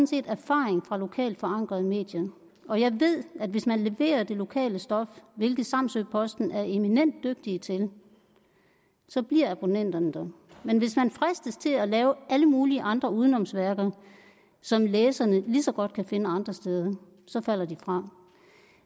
set erfaring fra lokalt forankrede medier og jeg ved at hvis man leverer det lokale stof hvilket samsø posten er eminent dygtige til så bliver abonnenterne der men hvis man fristes til at lave alle mulige andre udenomsværker som læserne lige så godt kan finde andre steder så falder de fra